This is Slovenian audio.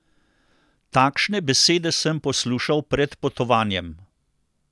Takšne besede sem poslušal pred potovanjem.